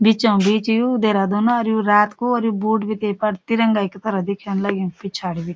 बीचों बीच यू देहरादूनों और यू रात कु और यू बुत बीटै पैर तिरंगाई पैर देखेंण लग्युं पिछाडी भि।